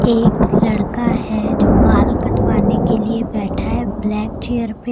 एक लड़का है जो बाल कटवाने के लिए बैठा है ब्लैक चेयर पे।